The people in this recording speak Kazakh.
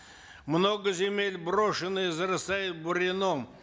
много земель брошено и зарастает бурьяном